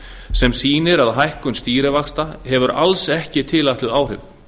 sem sýnir að hækkun stýrivaxta hefur alls ekki tilætluð áhrif